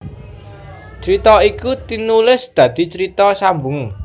Crita iku tinulis dadi carita sambung